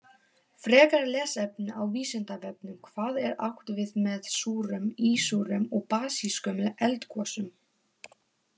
Frekara lesefni á Vísindavefnum: Hvað er átt við með súrum, ísúrum og basískum eldgosum?